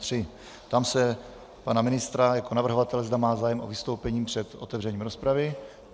Ptám se pana ministra jako navrhovatele, zda má zájem o vystoupení před otevřením rozpravy.